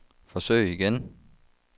forsøg igen